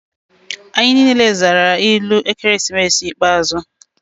Anyị niile zara ilu ekeresimesi ikpeazụ.